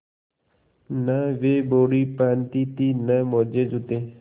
न वे बॉडी पहनती थी न मोजेजूते